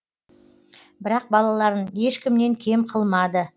бірақ балаларын ешкімнен кем қылмады